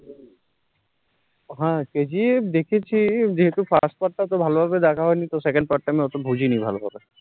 হ্যাঁ kgf দেখেছি second part টা এত বুজি নি ভালো করে